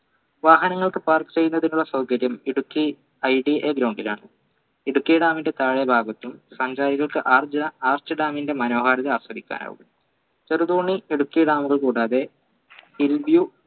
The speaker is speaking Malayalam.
വാഹനങ്ങൾക്ക് park ചെയ്യുന്നതിനുള്ള സൗകര്യം ഇടുക്കി IDAground ലാണ് ഇടുക്കി dam ൻറെ താഴെ ഭാഗത്തും സഞ്ചാരികൾക്ക് ആർച്ച arch dam ന്റെ മനോഹാരിത ആസ്വദിക്കാൻ ആകും ചെറുതോണി ഇടുക്കി dam കൾ കൂടാതെ hill view